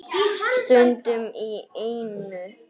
Stundum í einu.